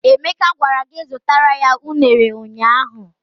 Emeka gwara gị zutara ya ụnere ụnyaahụ!